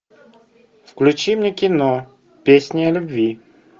включи мне кино песни о любви